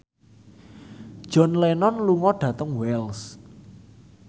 John Lennon lunga dhateng Wells